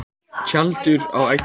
Tjaldur á eggjum.